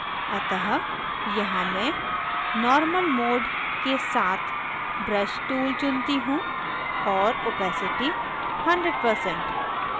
अतः यहाँ मैं normal mode के साथ brush tool चुनती हूँ और opacity 100%